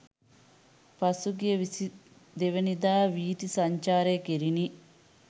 පසුගිය 22 දා වීථි සංචාරය කෙරිණි.